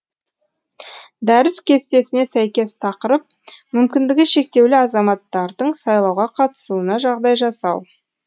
дәріс кестесіне сәйкес тақырып мүмкіндігі шектеулі азаматтардың сайлауға қатысуына жағдай жасау